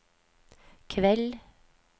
kveld